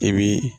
I bi